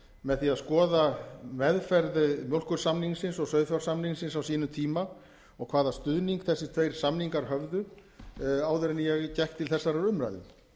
með því að skoða meðferð mjólkursamningsins og sauðfjársamningsins á sínum tíma og hvaða stuðning þessir tveir samningar höfðu áður en ég gekk til þessarar umræðu